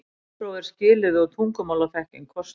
Bílpróf er skilyrði og tungumálaþekking kostur